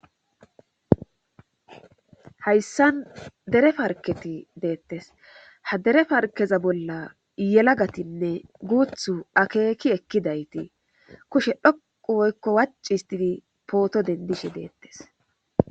Hayssan dere parketi deettes ha dere farkeza bolla yelagatinne guuthu akeeki ekkidayti kushe dhoqu woykko wacci histidi pooto denddishe deettes.